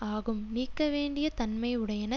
ஆகும் நீக்கவேண்டிய தன்மையுடையன